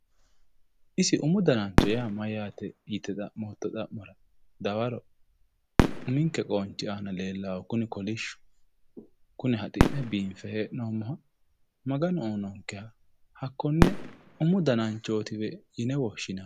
isi umu danancho maati yite xa'mootto xa'mora dawaro uminke qoonchi aana leellannohu kuni kolishshu kuni haxi'ne biinfe heee'noommoha maganu uyiinonkeha hakkonne umu dananchootiwe yine woshshinanni